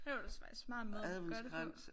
Det var faktisk en smart måde at gøre det på